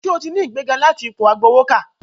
Sẹ́ o ti ní ìgbéga láti ipò agbowókà?